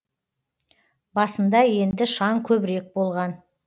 басында енді шаң көбірек болған